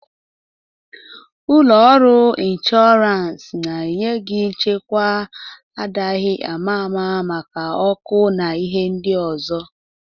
Ụlọ ọrụ inshọrans na-enye gị nchekwa adaghi ama ama maka ọkụ na ihe ndị ọzọ.